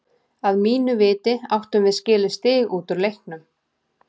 Að mínu viti áttum við skilið stig út úr leiknum.